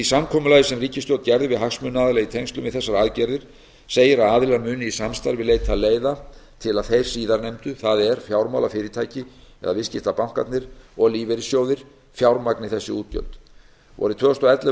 samkomulagi sem ríkisstjórnin gerði við hagsmunaaðila í tengslum við þessar aðgerðir segir að aðilar muni í samstarfi leita leiða til að þeir síðarnefndu það er fjármálafyrirtæki það er viðskiptabankarnir og lífeyrissjóðir fjármagni þessi útgjöld vorið tvö þúsund og ellefu